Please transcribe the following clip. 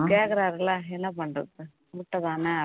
கேக்கறார் இல்ல என்ன பண்றது முட்டைதான